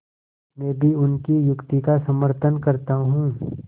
मैं भी उनकी युक्ति का समर्थन करता हूँ